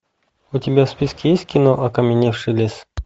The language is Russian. у тебя в списке есть кино окаменевший лес